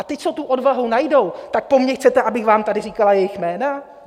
A ti, co tu odvahu najdou, tak po mně chcete, abych vám tady říkala jejich jména?